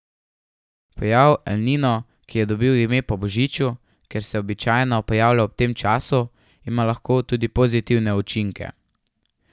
Pojav El Nino, ki je dobil ime po božiču, ker se je običajno pojavljal ob tem času, ima lahko tudi pozitivne učinke.